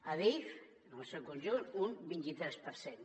adif en el seu conjunt un vint i tres per cent